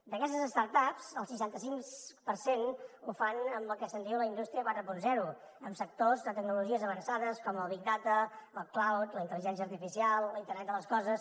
d’aquestes start ups el seixanta cinc per cent ho fan amb el que se’n diu la indústria quaranta en sectors de tecnologies avançades com el big data el ligència artificial l’internet de les coses